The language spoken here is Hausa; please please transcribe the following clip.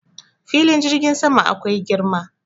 Filin jirgin sama akwai girma.